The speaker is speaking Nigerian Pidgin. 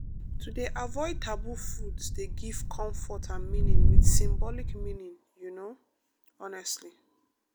to dey avoid taboo foods dey give comfort and meaning with symbolic meaning you know honestly